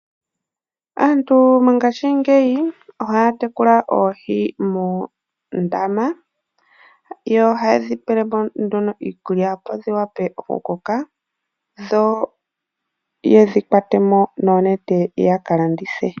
Aantu mongaashingeyi ohaya tekulile oohi moondama. Ohayedhi pelemo iikulya opo dhi vule oku koka eta ye dhi kwata mo noonete ya ka landithe.